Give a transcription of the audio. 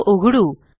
तो उघडू